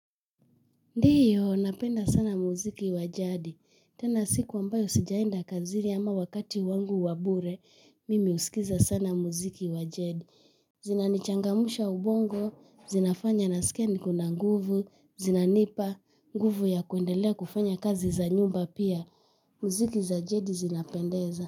Ndiyo, napenda sana muziki wa jadi. Tena siku ambayo sijaenda kazini ama wakati wangu wa bure, mimi husikiza sana muziki wa jadi. Zinanichangamsha ubongo, zinafanya nasikia nikona nguvu, zinanipa nguvu ya kuendelea kufanya kazi za nyumba pia. Muziki za jadi zinapendeza.